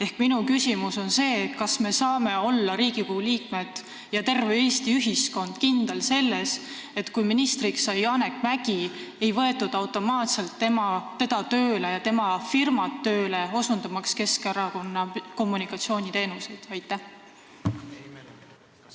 Ehk minu küsimus on see: kas meie, Riigikogu liikmed ja terve Eesti ühiskond, saame olla kindlad selles, et kui ministriks sai Janek Mäggi, siis ei võetud teda tööle selleks, et tema ja tema firma osutaksid Keskerakonnale kommunikatsiooniteenuseid?